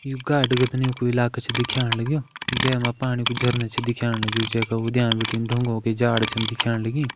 यु गाडउ गदनियुं कु इलाकु छ दिख्याण लग्युं। जैमां पाणि कु झरना छ दिख्याण लग्युं। जैका उद्याण बटिन ढूंगों की जाड़ छन दिख्याण लगी।